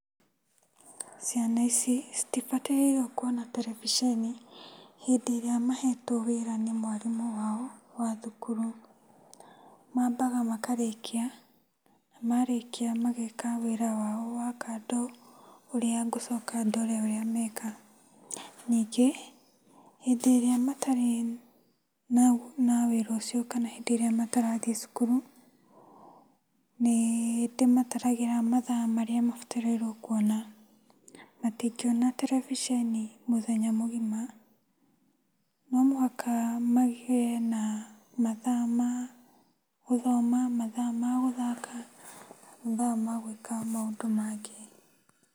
Ciana ici, citibatairwo kwona terebebiceni hĩndĩ ĩrĩa mahetwo wĩra nĩ mwarimũ wao wa thukuru. Mambaga makarĩkia, marĩkia mageka wĩra wao wa kando ũrĩa ngũcoka ndore ũrĩa meka. Nyingĩ, hĩnĩ ĩrĩa matarĩ na na wĩra ũcio kana hĩndĩ ĩrĩa matarathiĩ cukuru, nĩndĩmatarag'ĩmathaa marĩa mabatarĩirwo kwona. Matingĩona terebiceni mũthenya mũgima, nomũhaka magĩe na mathaa ma gũthoma, mathaa ma gũthaka, mathaa ma gwĩka maũndũ mangĩ.